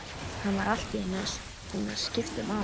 Hann var allt í einu búinn að skipta um átt.